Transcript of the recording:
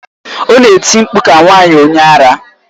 Ọ na-eti mkpu ka nwanyị onye ara.